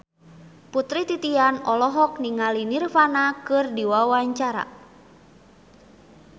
Putri Titian olohok ningali Nirvana keur diwawancara